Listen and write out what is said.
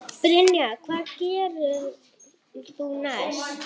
Brynja: Hvað gerðir þú næst?